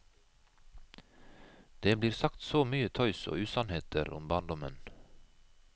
Det blir sagt så mye tøys og usannheter om barndommen.